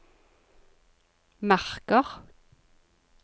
marker